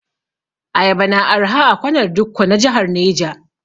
Ayaba na arha a kwanar dikko na jahar Neja.